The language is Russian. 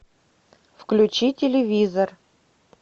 включи телевизор